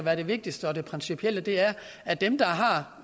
er det vigtigste og principielle er at dem der har